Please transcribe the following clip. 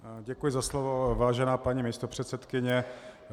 Děkuji za slovo, vážená paní místopředsedkyně.